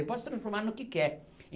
Ele pode se transformar no que quer.